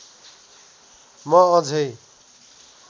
म अझै